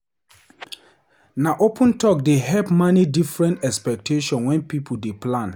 Na open talk dey help manage different expectations wen pipo dey plan.